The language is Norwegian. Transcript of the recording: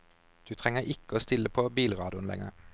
Du trenger ikke å stille på bilradioen lenger.